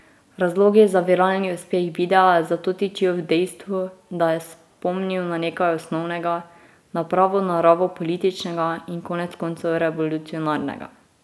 Razlogi za viralni uspeh videa zato tičijo v dejstvu, da je spomnil na nekaj osnovnega, na pravo naravo političnega in konec koncev revolucionarnega.